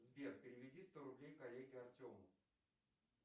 сбер переведи сто рублей коллеге артему